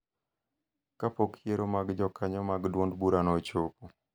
ka pok yiero mag jokanyo mag duond burano ochopo.